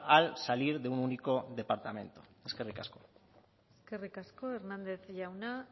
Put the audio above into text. al salir de un único departamento eskerrik asko eskerrik asko hernandez jauna